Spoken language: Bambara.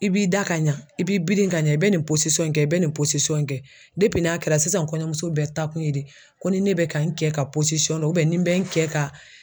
I b'i da ka ɲa i b'i biri ka ɲɛ i bɛ nin in kɛ i bɛ nin in kɛ n'a kɛra sisan kɔɲɔmuso bɛɛ taa kun ye de ko ni ne bɛ ka n kɛ ka dɔn ni bɛ n kɛ ka.